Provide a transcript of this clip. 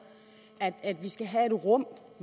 at vi skal have et rum